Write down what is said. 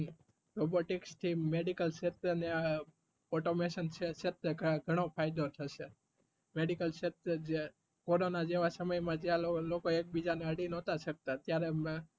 robotics થી medical ક્ષેત્રે આ automation ક્ષત્રે ઘણો ફાયદો થશે medical ક્ષત્રે. કોરોના જેવા સમય માં જયારે લોકો એક બીજા ને અડી નતા શકતા તયારે